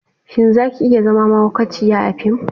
Shin za ki iya zama mahaukaciyar a fim?